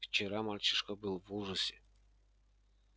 вчера мальчишка был в ужасе